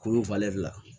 Kurun la